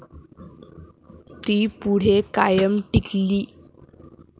ती पुढे कायम टिकली.